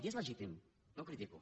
i és legítim no ho critico